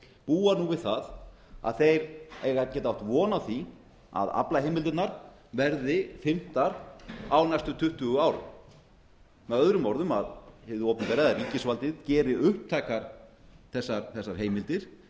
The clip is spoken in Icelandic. búa nú við það að þeir eiga að geta átt von á því að aflaheimildirnar verði fyrndar á næstu tuttugu árum með öðrum að hið opinbera eða ríkisvaldið geri upptækar þessar heimildir